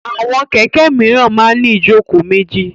Àwọn kẹ̀kẹ́ míràn máa ń ní ìjókòó méjì.